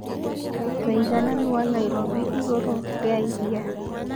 ũigananũ wa Nairobi igũrũ ria ĩrĩa